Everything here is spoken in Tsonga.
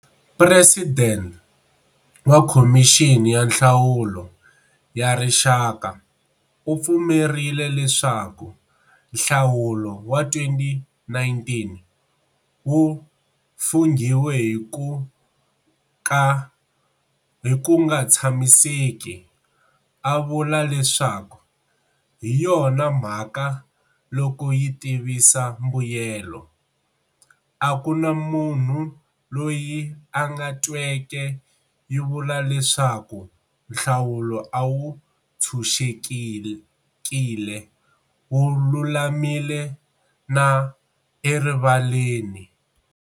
President wa Khomixini ya Nhlawulo ya Rixaka u pfumerile leswaku nhlawulo wa 2019 wu funghiwe hi ku nga tshamiseki, a vula leswaku"hi yona mhaka loko yi tivisa mbuyelo, a ku na munhu loyi a tweke yi vula leswaku nhlawulo a wu ntshunxekile, wu lulamile na erivaleni."